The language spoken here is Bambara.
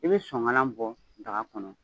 I be soŋalan bɔ daga kɔnɔ